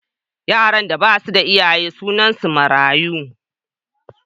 Yaran da ba su da iyaye sunansu mayaru.